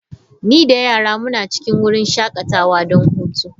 Ni da yaran muna cikin wurin shakatawa don hutu.